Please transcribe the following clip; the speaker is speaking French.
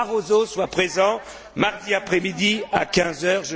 Barroso soit présent mardi après midi à 15 heures.